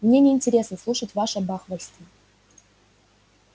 мне неинтересно слушать ваше бахвальство